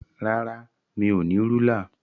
Rárá, mi ò ní rúlà.